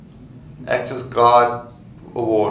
actors guild award